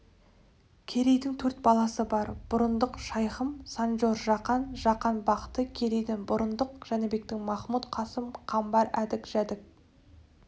керейдің төрт баласы бар бұрындық шайхым санджор-жақан жақан-бахты керейден бұрындық жәнібектен махмұт қасым қамбар әдік жәдік